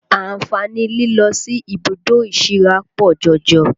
Àǹfààní lílọ sí ibùdó ìsíra pọ̀ jọjọ